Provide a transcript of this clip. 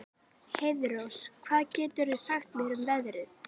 Heiðrós, hvað geturðu sagt mér um veðrið?